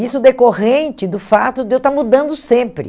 Isso decorrente do fato de eu estar mudando sempre.